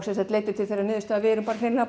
sem sem leiddi til þess að við erum